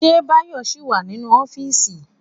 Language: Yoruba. Ṣé Báyọ̀ ṣì wà nínú ọ́fíìsì?